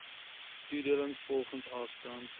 toedeling volgens afstand